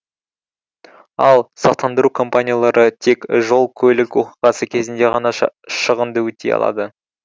ал сақтандыру компаниялары тек жол көлік оқиғасы кезінде ғана шығынды өтей алады